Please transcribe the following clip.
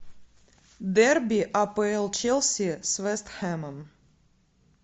дерби апл челси с вест хэмом